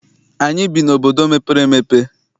Anyị bi n'obodo mepere emepe.